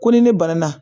Ko ni ne banana